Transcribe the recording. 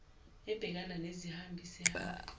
ebhekana nezihambi isihambi